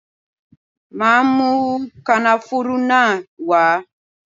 Màá mú kànáfùrú náà wá.